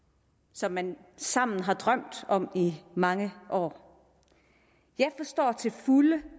som man sammen har drømt om i mange år jeg forstår det til fulde